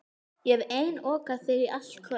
Ég hef einokað þig í allt kvöld.